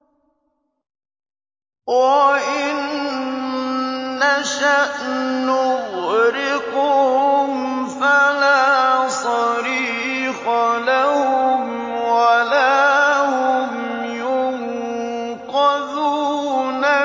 وَإِن نَّشَأْ نُغْرِقْهُمْ فَلَا صَرِيخَ لَهُمْ وَلَا هُمْ يُنقَذُونَ